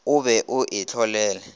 o be o e hlolele